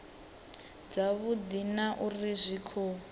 dzavhudi na uri zwi khou